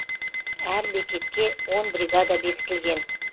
әр бекетке он бригада бекітілген